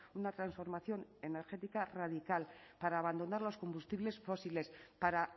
una transformación energética radical para abandonar los combustibles fósiles para